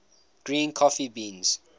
green coffee beans